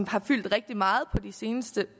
har fyldt rigtig meget på de seneste